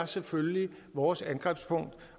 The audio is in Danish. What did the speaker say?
selvfølgelig er vores angrebspunkt